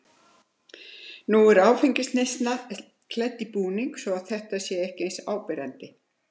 Nú er áfengisneyslan klædd í búning svo að þetta sé ekki eins áberandi.